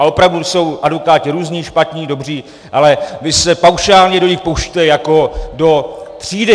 Ale opravdu, jsou advokáti různí, špatní, dobří, ale vy se paušálně do nich pouštíte jako do třídy.